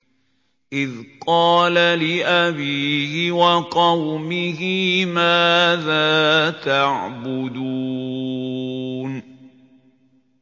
إِذْ قَالَ لِأَبِيهِ وَقَوْمِهِ مَاذَا تَعْبُدُونَ